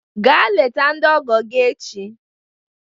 Gaa leta ndị ọgọ gị echi